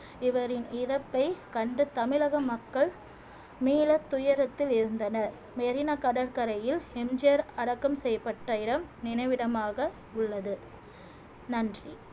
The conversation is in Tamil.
இவரின் இறப்பை கண்டு தமிழக மக்கள் மீளத் துயரத்தில் இருந்தனர் மெரினா கடற்கரையில் எம் ஜி ஆர் அடக்கம் செய்யப்பட்ட இடம் நினைவிடமாக உள்ளது நன்றி